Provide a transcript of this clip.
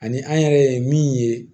Ani an yɛrɛ ye min ye